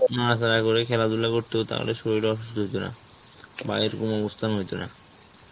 করে খেলাধুলা করতো তাহলে তাহলে শরীরে অসুস্থ হইত না বা এরকম অবস্থা হতো না.